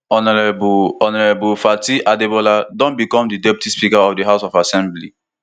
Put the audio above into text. honourable honourable fatai adebola don become di deputy speaker of di house of assembly